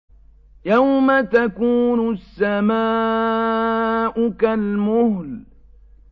يَوْمَ تَكُونُ السَّمَاءُ كَالْمُهْلِ